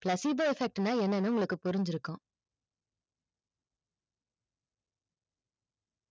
placebo set என்னனா உங்களுக்கு புரிஞ்சு இருக்கும்